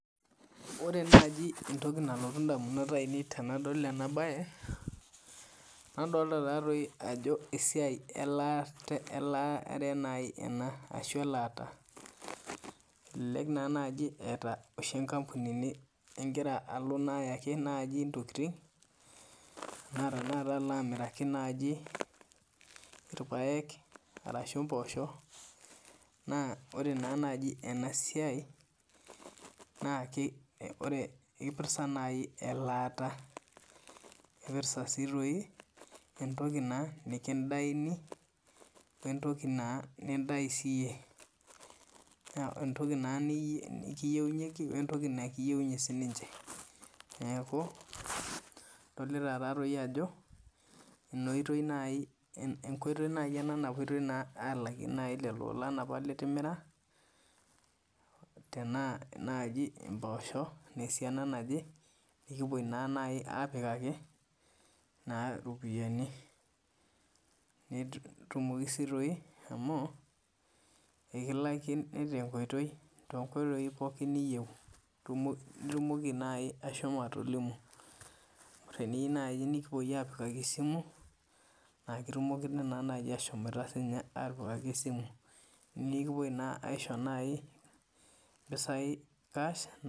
Ore naaji entoki nalotu edamunot ainei tenadol ena mbae nadolita Ajo esiai elataa enaa elelek aa etae enkampuni niloito oshi ayaaki ntokitin alo amirike naaji irpaek ashu mboshok ore ena siai naaji naa kirepresent elata naipirta sii entoki nikidaini wee ntoki n nidai siiyie entoki kiyieunyeki wee ntoki nikiyieunye sinche neeku edolita Ajo enkoitoi naapuotoi alakie elolon apa litimira tenaa naaji mboshok naa esiana naaje nikipuoi apikaki eropiani netumoki sii amu ekilakini too nkoitoi pookin niyieu naitumoki naaji ahomo atolimu teniyieu nikipuoi apikaki esimu naa kitumokini ashom atipikaki esimu nikipuoi naaji aishoo naaji ashom aishoo mpisai cash